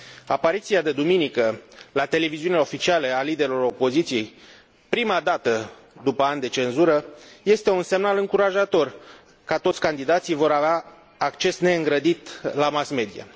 Apariția de duminică la televiziunile oficiale a liderului opoziției, prima dată după ani de cenzură, este un semnal încurajator că toți candidații vor avea acces neîngrădit la mass media.